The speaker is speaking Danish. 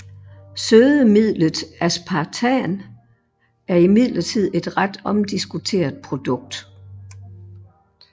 Sødemidlet aspartam er imidlertid et ret omdiskuteret produkt